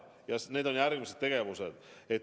Ja need on järgmised tegevused.